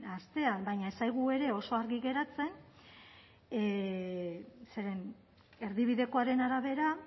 astean baina ez zaigu ere oso argi geratzen zeren erdibidekoaren arabera